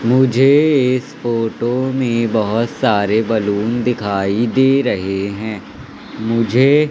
मुझे इस फोटो में बहोत सारे बेलून दिखाई दे रहे हैं। मुझे--